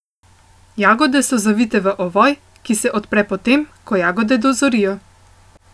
Jagode so zavite v ovoj, ki se odpre potem, ko jagode dozorijo.